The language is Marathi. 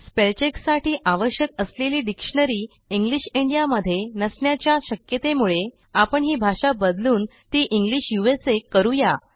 स्पेल चेक साठी आवश्यक असलेली डिक्शनरी इंग्लिश इंडिया मध्ये नसण्याच्या शक्यतेमुळे आपण ही भाषा बदलून ती इंग्लिश उसा करू या